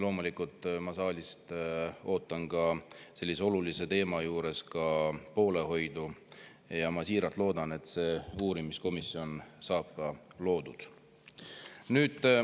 Loomulikult, ma ootan saalist sellise olulise teema puhul ka poolehoidu ja ma siiralt loodan, et see uurimiskomisjon saab loodud.